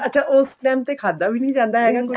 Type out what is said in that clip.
ਅੱਛਾ ਉਸ ਟੇਮ ਤੇ ਖਾਦਾ ਵੀ ਨਹੀਂ ਜਾਂਦਾ ਹੈਗਾ ਕੁੱਛ